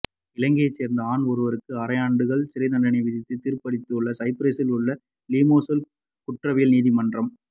இலங்கையைச் சேர்ந்த ஆண் ஒருவருக்கு ஆறரை ஆண்டுகள் சிறைத்தண்டனையை விதித்து தீர்ப்பளித்துள்ளது சைப்ரஸில் உள்ள லிமாசோல் குற்றவியல் நீதிமன்றம்